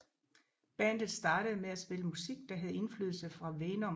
Bandet startede med at spille musik der havde indflydelse fra Venom